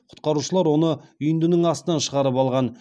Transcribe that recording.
құтқарушылар оны үйіндінің астынан шығарып алған